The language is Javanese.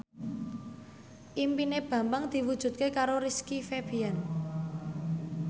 impine Bambang diwujudke karo Rizky Febian